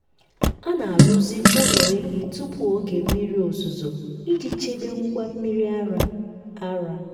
a na-arụzi ụlọ ehi tupu oge mmiri ozuzo iji chebe ngwa mmiri ara. ara.